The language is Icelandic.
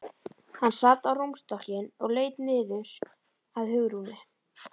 Hann sat á rúmstokkinn og laut niður að Hugrúnu.